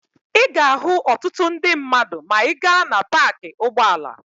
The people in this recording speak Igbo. Ị ga-ahụ ọtụtụ ndị mmadụ maa ị gaa na paakị ụgbọala..